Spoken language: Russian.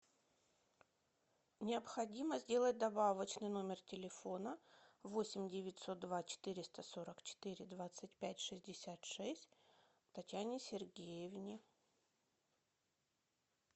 необходимо сделать добавочный номер телефона восемь девятьсот два четыреста сорок четыре двадцать пять шестьдесят шесть татьяне сергеевне